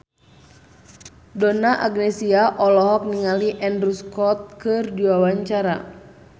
Donna Agnesia olohok ningali Andrew Scott keur diwawancara